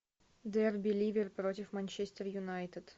дерби ливер против манчестер юнайтед